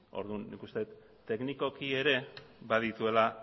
orduan nik ikusten dut teknikoki ere badituela